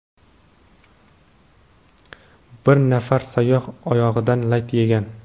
Bir nafar sayyoh oyog‘idan lat yegan.